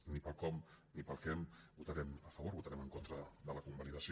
ni pel com ni pel què hi votarem a favor votarem en contra de la convalidació